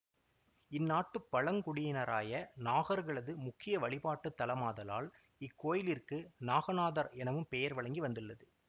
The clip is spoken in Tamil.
இந்நாட்டுப் பழங்குடியினராய நாகர்களது முக்கிய வழிபாட்டு தலமாதலால் இத்திருக்கோயிலிற்கு நாகநாதர் எனவும் பெயர் வழங்கி வந்துள்ளது